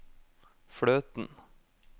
fløten